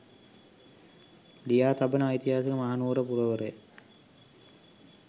ලියා තබන ඓතිහාසික මහනුවර පුරවරය